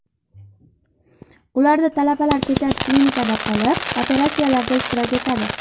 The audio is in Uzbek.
Ularda talabalar kechasi klinikada qolib, operatsiyalarda ishtirok etadi.